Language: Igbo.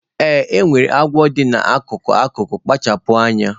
Ee, e nwere agwọ dị n'akụkụ akụkụ, kpachara anya.